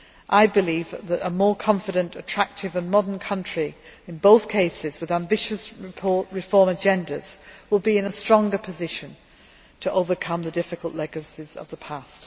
I believe that a more confident, attractive and modern country, in both cases with ambitious reform agendas, will be in a stronger position to overcome the difficult legacies of the past.